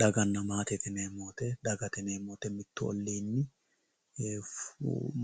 Dagate yineemowoyi mittu oliini